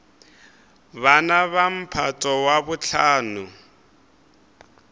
bana ba mphato wa bohlano